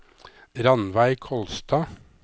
Rannveig Kolstad